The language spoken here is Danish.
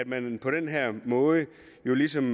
man på den her måde ligesom